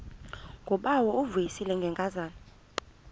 ngubawo uvuyisile ngenkazana